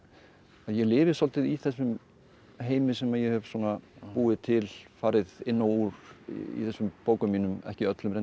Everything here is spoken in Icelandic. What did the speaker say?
ég lifi svolítið í þessum heimi sem ég hef svona búið til farið inn og úr í þessum bókum mínum ekki öllum reyndar